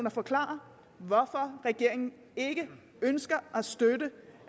og forklare hvorfor regeringen ikke ønsker at støtte